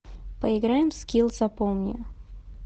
поиграем в скилл запомни